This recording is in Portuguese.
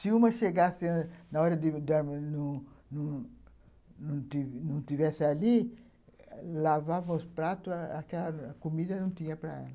Se uma chegasse ãh na hora de dormir, não estivesse ali, lavava os pratos, aquela comida não tinha para ela.